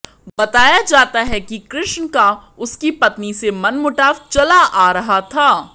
बताया जाता है कि कृष्ण का उसकी पत्नी से मनमुटाव चला आ रहा था